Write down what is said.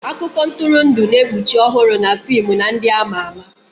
Akụkọ ntụrụndụ na-ekpuchi ọhụrụ na fim na ndị ama ama.